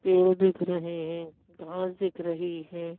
पेड़ दिख रहे हैं घांस दिख रही है।